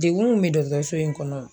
Degun mun bɛ dɔgɔtɔrɔso in kɔnɔ